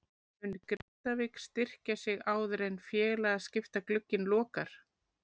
Mun Grindavík styrkja sig áður en félagaskiptaglugginn lokar?